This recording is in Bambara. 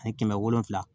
Ani kɛmɛ wolonwula